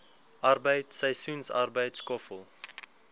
arbeid seisoensarbeid skoffel